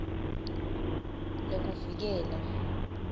nekuvikela